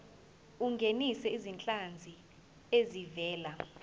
ungenise izinhlanzi ezivela